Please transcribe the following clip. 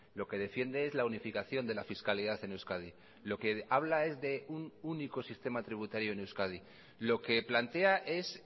lo que defiende es la unificación de la fiscalidad en euskadi lo que habla es de un único sistema tributario en euskadi lo que plantea es